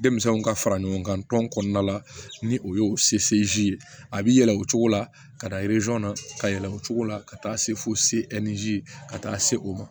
Denmisɛnninw ka fara ɲɔgɔn kan tɔn kɔnɔna la ni o ye ye a bi yɛlɛ o cogo la ka taa na ka yɛlɛ o cogo la ka taa se fo ka taa se o ma